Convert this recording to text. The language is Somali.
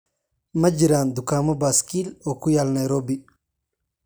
ma jiraan dukaamo baaskiil oo ku yaal nairobi